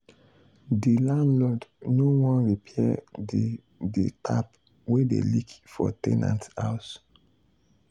the landlord no wan repair the the tap wey dey leak for ten ant house.